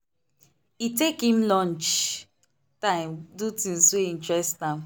e take him lunch time do things wey interest am.